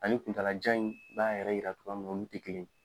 Ani kunta la jan in b'a yɛrɛ yira togoya mina olu tɛ kelen yen.